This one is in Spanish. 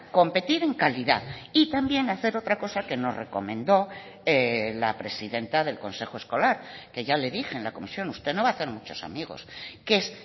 competir en calidad y también hacer otra cosa que nos recomendó la presidenta del consejo escolar que ya le dije en la comisión usted no va a hacer muchos amigos que es